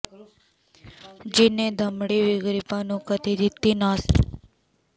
ਜਿੰਨ੍ਹੇ ਦਮੜੀ ਵੀ ਗ਼ਰੀਬਾਂ ਨੂੰ ਕਦੀ ਦਿੱਤੀ ਨਾ ਸੀ